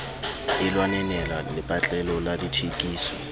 e lwanenela lepatlelo la dithekiso